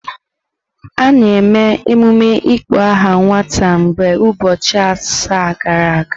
A na-eme emume ịkpọ aha nwata mgbe ụbọchị asaa gachara.